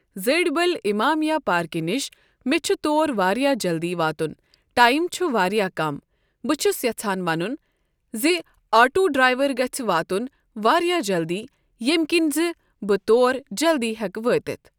زڈی بل امامیا پارکہِ نِش مےٚ چھُ تور واریاہ جلدی واتُن ٹایِم چھُ واریاہ کم۔ بہٕ چھس یژھان ونُن زِ آٹوٗ دڑایور گژھِہ واتُن واریاہ جلدی ییٚمہِ کِنۍ زِ بہٕ تور جلدی ہٮ۪کہٕ وٲتِتھ